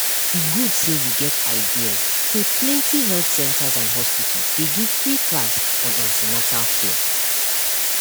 e good say you get ideas say plenty health centers and hospitals dey give free class on an ten atal care